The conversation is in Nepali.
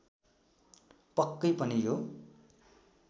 पक्कै पनि यो